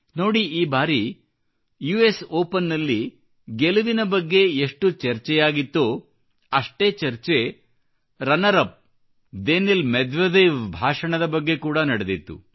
ನೋಡಿ ಈ ಬಾರಿ ಯುಎಸ್ ಓಪನ್ ನಲ್ಲಿ ಗೆಲುವಿನ ಬಗ್ಗೆ ಎಷ್ಟು ಚರ್ಚೆಯಾಗಿತ್ತೋ ಅಷ್ಟೇ ಚರ್ಚೆ ರನ್ನರ್ ಅಪ್ ದೇನಿಲ್ ಮೆದ್ವೆದೇವ್ಭಾಷಣದ ಬಗ್ಗೆ ಕೂಡಾ ನಡೆದಿತ್ತು